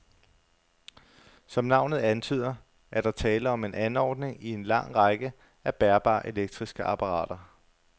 Som navnet antyder, er der tale om en anordning i en lang række af bærbare elektriske apparater.